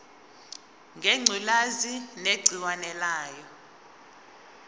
ngengculazi negciwane layo